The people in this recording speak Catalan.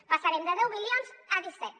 passarem de deu milions a disset